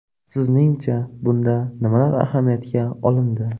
Sizning-cha, bunda nimalar ahamiyatga olindi?